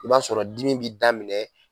I b'a sɔrɔ dimi bɛ daminɛ